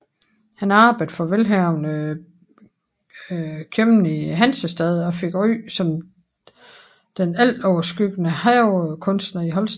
Han arbejdede for velhavende købmand i hansestaden og fik ry som den altoverskyggende havekunstner i Holsten